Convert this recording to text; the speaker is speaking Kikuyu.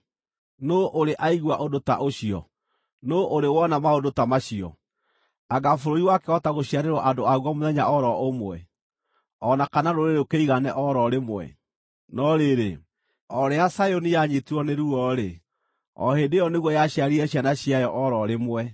Nũũ ũrĩ aigua ũndũ ta ũcio? Nũũ ũrĩ wona maũndũ ta macio? Anga bũrũri wakĩhota gũciarĩrwo andũ aguo mũthenya o ro ũmwe, o na kana rũrĩrĩ rũkĩigane o ro rĩmwe? No rĩrĩ, o rĩrĩa Zayuni yanyiitirwo nĩ ruo-rĩ, o hĩndĩ ĩyo nĩguo yaciarire ciana ciayo o ro rĩmwe.